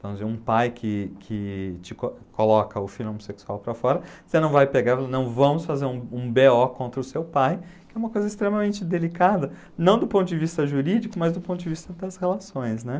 Vamos dizer, um pai que que te co coloca o filho homossexual para fora, você não vai pegar e, não, vamos fazer um um bê ó contra o seu pai, que é uma coisa extremamente delicada, não do ponto de vista jurídico, mas do ponto de vista das relações, né?